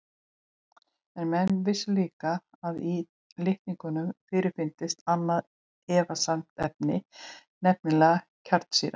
En menn vissu líka að í litningum fyrirfinnst annað efnasamband, nefnilega kjarnsýra.